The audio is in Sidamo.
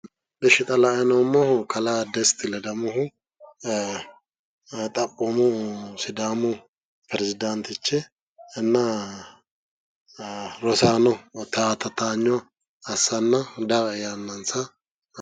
Ishi xa la"ayi noommohu kalaa Desti Ledamohu xaphoomu sidaamu perisidaantichi inna rosaano towaanyo assannansa daae yaannansa